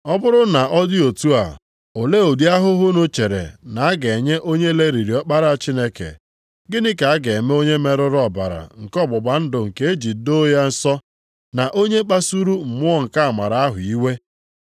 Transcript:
Ọ bụrụ na ọ dị otu a, olee ụdị ahụhụ unu chere na a ga-enye onye lelịrị Ọkpara Chineke, gịnị ka a ga-eme onye merụrụ ọbara nke ọgbụgba ndụ nke e ji doo ya nsọ, na onye kpasuru mmụọ nke amara ahụ iwe?